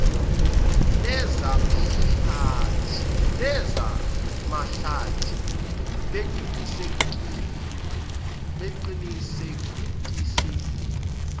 neza mahlathi beqinisekisile